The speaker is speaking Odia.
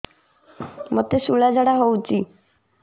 ମୋତେ ଶୂଳା ଝାଡ଼ା ହଉଚି